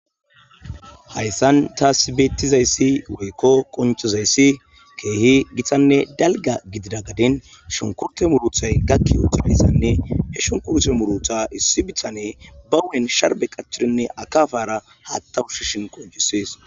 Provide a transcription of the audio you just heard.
hayssan taasi beetizayssi woykko qonchozayssi keehi gixanne dalga gidida gadin shunkurte muruthay gakki uturayssanne he shunkurte murutha issi bitane ba wuen sharbe qachirinne akafara haattawushishin qojisees